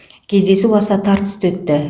кездесу аса тартысты өтті